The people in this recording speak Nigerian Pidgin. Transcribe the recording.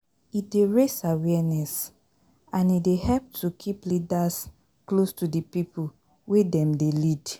E dey raise awareness and e dey help to keep leaders close to di pipo wey dem dey lead